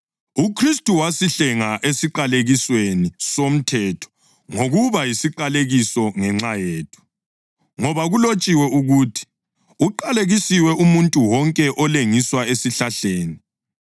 UKhristu wasihlenga esiqalekisweni somthetho ngokuba yisiqalekiso ngenxa yethu, ngoba kulotshiwe ukuthi: “Uqalekisiwe umuntu wonke olengiswa esihlahleni.” + 3.13 UDutheronomi 21.23